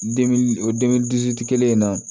o kelen in na